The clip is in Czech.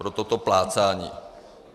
Pro toto plácání.